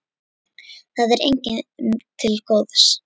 Það er engum til góðs.